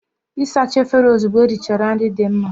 Ịsacha efere ozugbo erichara nri dị mma.